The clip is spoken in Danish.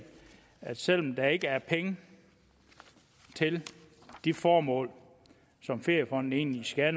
at selv om der ikke er penge til de formål som feriefonden egentlig skal